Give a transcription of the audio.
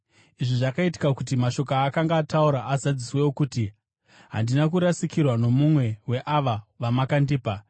Izvi zvakaitika kuti mashoko aakanga ataura azadziswe, okuti: “Handina kurasikirwa nomumwe weava vamakandipa.”